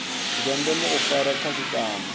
zwa ndeme u fara khasitama